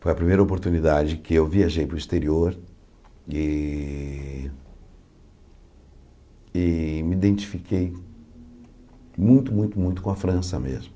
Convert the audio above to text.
Foi a primeira oportunidade que eu viajei para o exterior e e me identifiquei muito, muito, muito com a França mesmo.